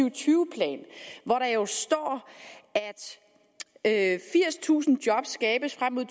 og tyve plan hvor der jo står at firstusind job skabes frem mod